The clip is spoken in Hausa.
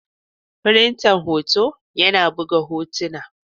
Firinta hoto yana buga hotuna.